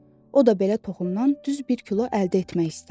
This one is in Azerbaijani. o da belə toxundan düz bir kilo əldə etmək istərdi.